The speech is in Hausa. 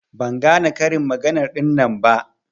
Ban gane karin magana ɗinnan ba.